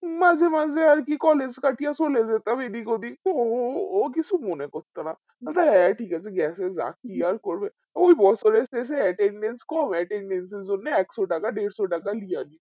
মাজে মাজে আরকি collage কাটিয়া চলে যেতাম এদিক ওদিক তো ও কিছু মনে করতো না যে ঠিক আছে গেছে যাক কি আর করবো ওই বছরের শেষে attendance কম attendance এর জন্যে একশো টাকা দেড়শো টাকা লিয়া